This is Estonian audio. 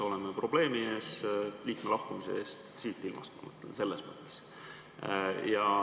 Liikme lahkumise puhul siit ilmast, ma mõtlen seda selles mõttes.